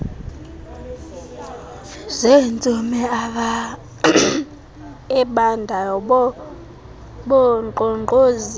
zentsomi ebandayo wankqonkqozisa